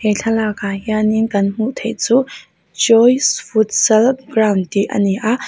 he thlalak ah hianin kan hmuh theih chu joys futsal ground tih a ni a--